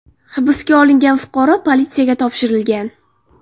Hibsga olingan fuqaro politsiyaga topshirilgan.